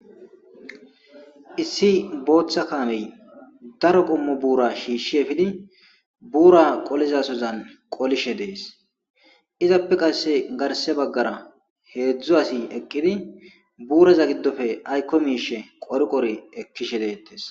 issi booththa kaamey daro qommo buura shiishshi efidi buura qolizasozan qolishe dees izappe qasse garse baggara heedzdzu asi ekkidi buuraza giddofe aykko miishe qor qori ekkishe deettes